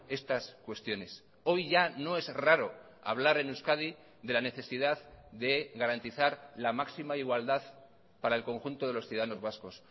estas cuestiones hoy ya no es raro hablar en euskadi de la necesidad de garantizar la máxima igualdad para el conjunto de los ciudadanos vascos